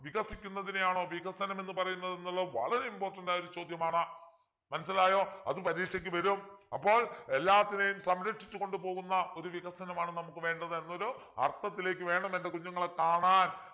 വികസിക്കുന്നതിനെയാണോ വികസനം എന്നു പറയുന്നത് എന്നുള്ള വളരെ important ആയൊരു ചോദ്യമാണ് മനസ്സിലായോ അത് പരീക്ഷയ്ക്ക് വരും അപ്പോൾ എല്ലാത്തിനെയും സംരക്ഷിച്ചു കൊണ്ടുപോകുന്ന ഒരു വികസനമാണ് നമുക്ക് വേണ്ടത് എന്നൊരു അർത്ഥത്തിലേക്ക് വേണം എൻ്റെ കുഞ്ഞുങ്ങൾ കാണാൻ